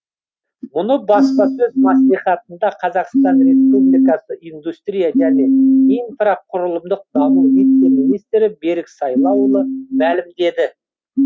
мұны баспасөз мәслихатында қазақстан республикасы индустрия және инфрақұрылымдық даму вице министрі берік сайлауұлы мәлімдеді